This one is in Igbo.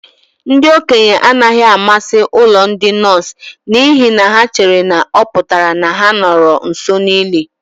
Ndị okenye anaghị amasị ụlọ ndị nọọsụ n'ihi na ha chere na ọ pụtara na ha nọru nso n'ili.